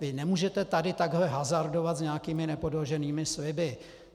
Vy nemůžete tady takto hazardovat s nějakými nepodloženými sliby.